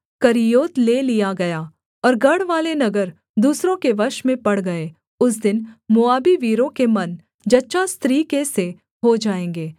Kerioth ले लिया गया और गढ़वाले नगर दूसरों के वश में पड़ गए उस दिन मोआबी वीरों के मन जच्चा स्त्री के से हो जाएँगे